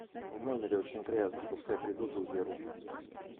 в номере очень грязно пускай придут и уберут